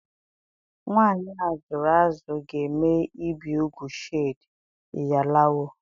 Nwanyị a zụrụ azụ ga-eme ibi úgwù Shade (Iyalawo).